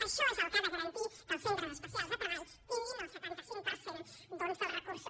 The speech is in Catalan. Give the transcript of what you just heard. això és el que ha de garantir que els centres especials de treball tinguin el setanta cinc per cent dels recursos